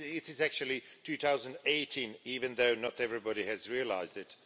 It is actually 2018, even though not everybody has realised it.